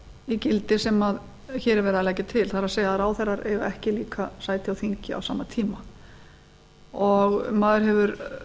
í gildi sem hér er verið að leggja til það er að ráðherrar eiga ekki líka sæti á þingi á sama tíma og maður hefur